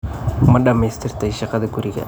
Ma dhammaystirtay shaqada guriga?